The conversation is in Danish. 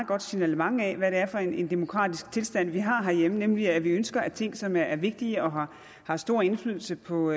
godt signalement af hvad det er for en demokratisk tilstand vi har herhjemme nemlig at vi ønsker at ting som er vigtige og har har stor indflydelse på